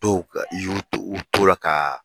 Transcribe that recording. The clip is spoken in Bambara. Dɔw ka yu u t'o u t'o la ka